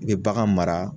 I bɛ bagan mara